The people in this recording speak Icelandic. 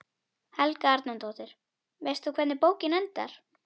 Helga Arnardóttir: Veist þú hvernig bókin endar?